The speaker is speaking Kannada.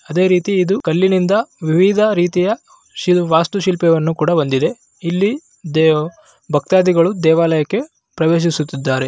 ಅದೇ ರೀತಿ ಇದು ಒಂದು ಕಲ್ಲಿನಿಂದ ವಿವಿಧ ರೀತಿಯ ವಾಸ್ತು ಶಿಲ್ಪಿಯನ್ನು ಹೊಂದಿದೆ. ಇಲ್ಲಿ ದೇವಾ ಭಕ್ತಾಧಿಗಳು ದೇವಾಲಯಕ್ಕೆ ಪ್ರವೇಶಿಸುತ್ತಿದ್ದಾರೆ.